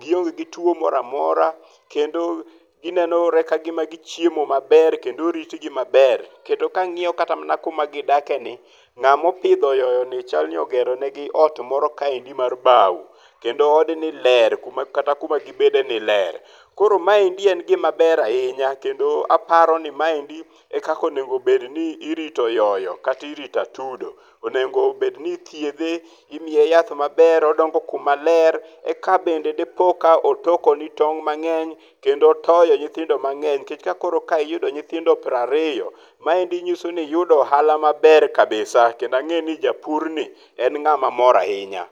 gionge gi tuo moro amora kendo nenore ni gichiemo maber kendo oritgi maber. Kendo kangiyo kata kuma gidakeni, ngama opidho oyoyo ni chalni ogero negi ot moro kaendi mar bao kendo odni ler kata kuma gibedeni ler koro maendi en gima ber ahinya kendo aparoni maendi e kaka onego obedni irito oyoyo kata irito atudo, onego obedni ithiedhe, imiye yath maber odongo kuma ler eka bende dipo ka otokoni tong mangeny kendo otoyo nyithindo mangeny nikech ka koro iyudo nyithindo 20 maendi nyiso ni iyudo ohala maber kabisa kendo angeni japur ni en ngama mor ahinya